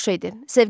Pul boş şeydir.